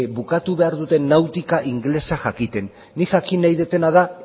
bukatu behar dute nautika ingelesa jakiten nik jakin nahi dudana da